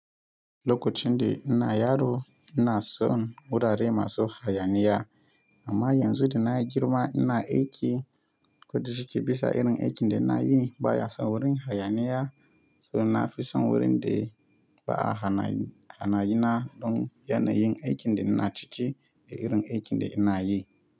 Lokacin da ina yaro ina son wurare masu hayaniya. Amma yanzu da na girma ina aiki, ko da shike bisa irin aikin da nayi ne baya son wurin hayaniya. So na fi son wurin da ba a hayani, hayaniya don yanayin aikin da ina ciki da irin aikin da ina yi.